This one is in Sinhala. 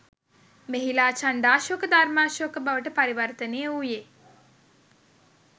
මෙහිලා චණ්ඩාශෝක ධර්මාශෝක බවට පරිවර්තනය වූයේ